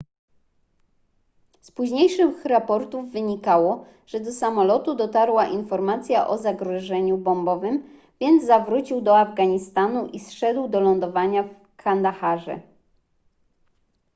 z późniejszych raportów wynikało że do samolotu dotarła informacja o zagrożeniu bombowym więc zawrócił do afganistanu i zszedł do lądowania w kandaharze